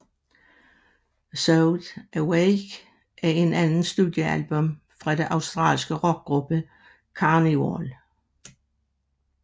Sound Awake er det andet studiealbum fra den australske rockgruppe Karnivool